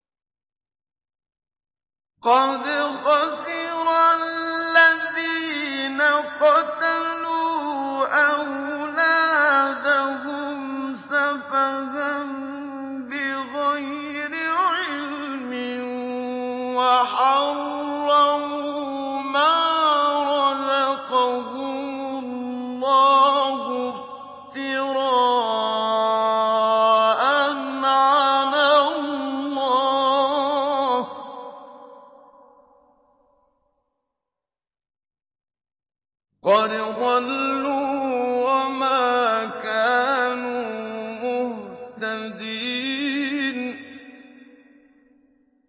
قَدْ خَسِرَ الَّذِينَ قَتَلُوا أَوْلَادَهُمْ سَفَهًا بِغَيْرِ عِلْمٍ وَحَرَّمُوا مَا رَزَقَهُمُ اللَّهُ افْتِرَاءً عَلَى اللَّهِ ۚ قَدْ ضَلُّوا وَمَا كَانُوا مُهْتَدِينَ